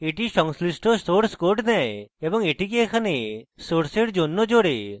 এটি সংশ্লিষ্ট source code নেয় এবং এটিকে এখানে সোর্সের জন্য code